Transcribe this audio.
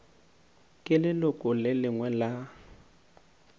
ke leloko le lengwe la